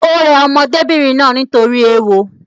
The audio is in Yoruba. Ò rẹ ọmọdébìnrin náà nítorí ééwo